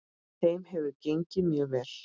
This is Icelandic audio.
Þeim hefur gengið mjög vel.